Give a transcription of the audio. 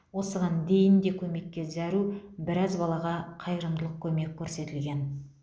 осыған дейін де көмекке зәру біраз балаға қайырымдылық көмек көрсетілген